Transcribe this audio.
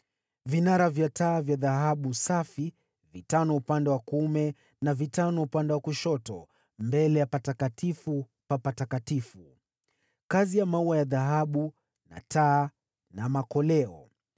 vinara vya taa vya dhahabu safi (vitano upande wa kuume na vitano upande wa kushoto, mbele ya Patakatifu pa Patakatifu); kazi ya maua ya dhahabu na taa na makoleo;